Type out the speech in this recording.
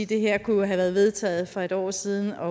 det her kunne have været vedtaget for et år siden og